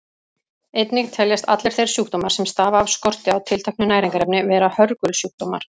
Einnig teljast allir þeir sjúkdómar sem stafa af skorti á tilteknu næringarefni vera hörgulsjúkdómar.